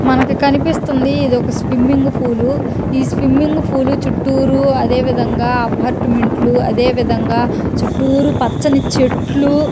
మనకి కనిపిస్తుంది ఇదొక స్విమ్మింగ్పూలూ . ఈ స్విమ్మింగ్పూలూ చుట్టూరు అదేవిధంగా అపార్ట్మెంట్ లు అదేవిధంగా చుట్టూరు పచ్చని చెట్లు--